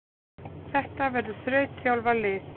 Þetta verður þrautþjálfað lið.